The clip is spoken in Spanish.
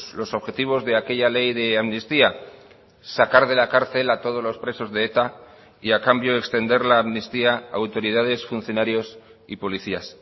los objetivos de aquella ley de amnistía sacar de la cárcel a todos los presos de eta y a cambio extender la amnistía a autoridades funcionarios y policías